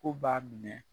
Ko b'a minɛ